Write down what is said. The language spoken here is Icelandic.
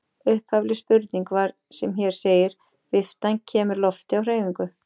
Upphafleg spurning var sem hér segir: Viftan kemur lofti á hreyfingu.